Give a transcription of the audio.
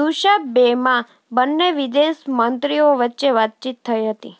દુશાંબેમાં બંને વિદેશ મંત્રીઓ વચ્ચે વાતચીત થઈ હતી